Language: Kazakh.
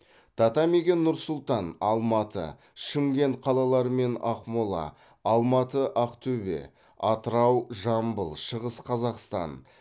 татамиге нұр сұлтан алматы шымкент қалалары мен ақмола алматы ақтөбе атырау жамбыл шығыс қазақстан